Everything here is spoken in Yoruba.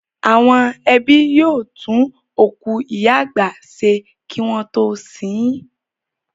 Àwọn ẹbí yóò tún òkú ìyá àgbà ṣe wọn kí wọ́n tó sin ín.